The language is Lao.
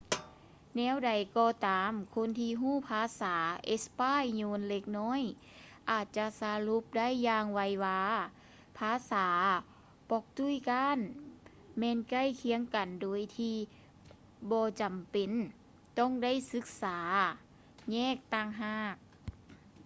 ແນວໃດກໍຕາມ ຄົນທີ່ຮູ້ພາສາເອສປາຍໂຍນເລັກນ້ອຍອາດຈະສະຫຼຸບໄດ້ຢ່າງໄວວາວ່າພາສາປອກຕຸຍການແມ່ນໃກ້ຄຽງກັນໂດຍທີ່ບໍ່ຈຳເປັນຕ້ອງໄດ້ສຶກສາແຍກຕ່າງຫາກ